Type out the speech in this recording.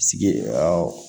Sigi